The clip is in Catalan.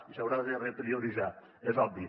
i s’haurà de reprioritzar és obvi